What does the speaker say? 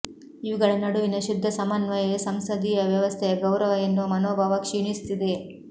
ಇವುಗಳ ನಡುವಿನ ಶುದ್ಧ ಸಮನ್ವಯವೇ ಸಂಸದೀಯ ವ್ಯವಸ್ಥೆಯ ಗೌರವ ಎನ್ನುವ ಮನೋಭಾವ ಕ್ಷೀಣಿಸುತ್ತಿದೆ